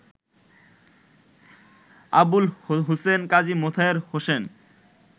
Abul Hussain, Kazi Motahar Hossain